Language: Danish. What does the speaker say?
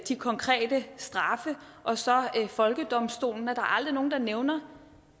de konkrete straffe og så folkedomstolen at der aldrig er nogen der nævner